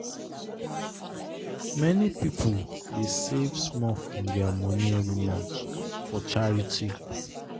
many people dey save small from their their money every month for charity.